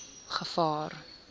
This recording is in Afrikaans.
gevaar